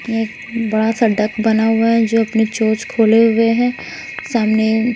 यह बड़ा सा डक बना हुआ है जो अपने चोंच खोले हुए है सामने--